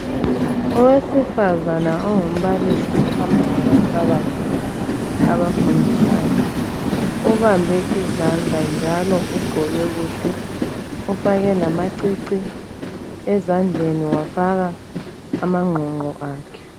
Owesifazana ongumbalisi uhamba labantwabakhe abafundisayo. Ubambe izandla njalo ugqoke kuhle, ufake lamacici, ezandleni wafaka amangqongqo akhe.